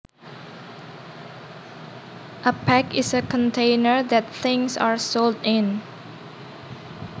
A pack is a container that things are sold in